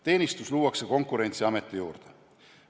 Teenistus luuakse Konkurentsiameti juurde.